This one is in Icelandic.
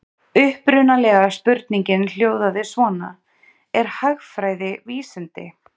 Upprunalega spurningin hljóðaði svona: Er hagfræði vísindi?